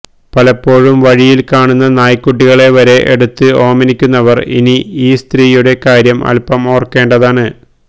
പലപ്പോഴും വഴിയില് കാണുന്ന നായ്ക്കുട്ടികളെ വരെ എടുത്ത് ഓമനിക്കുന്നവർ ഇനി ഈ സ്ത്രീയുടെ കാര്യം അൽപം ഓർക്കേണ്ടതാണ്